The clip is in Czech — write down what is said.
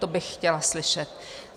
To bych chtěla slyšet.